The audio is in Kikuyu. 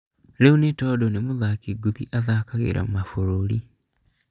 Rĩu Ntando nĩ mũthaki ngũthi ũthakagĩra mabũrũri